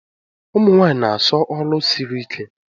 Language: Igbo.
Ụmunwanyi na asọ ọlụ siri ike.